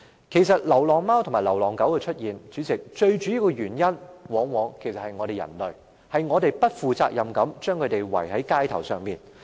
出現流浪貓狗的主要原因，往往是人類不負責任地將牠們遺棄街頭。